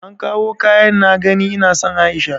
An kawo kayan na gani ina son aisha?